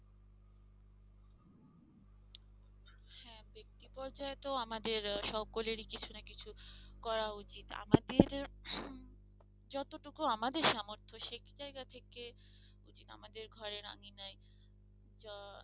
বিপর্যয়ে তো আমাদের সকলের কিছু না কিছু করা উচিত আমাদের হম যতটুকু আমাদের সামর্থ সেই জায়গা থেকে যদি আমাদের ঘরের আঙিনায়